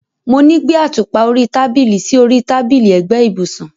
Mo ní gbé àtùpà orí tábìlì sí orí tábìlì ẹ̀gbẹ́ ibùsùn.